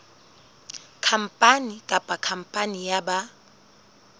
khampani kapa khampani ya ba